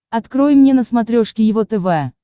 открой мне на смотрешке его тв